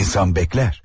İnsan bəklər.